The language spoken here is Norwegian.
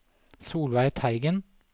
Solveig Teigen